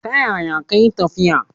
Ta yaya kayi tafiya?